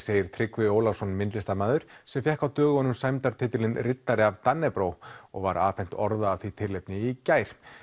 segir Tryggvi Ólafsson myndlistarmaður sem fékk á dögunum riddari af og var afhent orða af því tilefni í gær